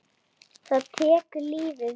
Þá tekur lífið við?